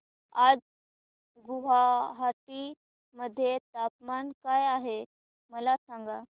आज गुवाहाटी मध्ये तापमान काय आहे मला सांगा